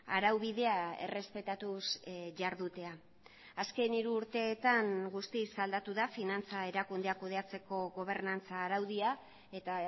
araubidea errespetatuz jardutea azken hiru urteetan guztiz aldatu da finantza erakundeak kudeatzeko gobernantza araudia eta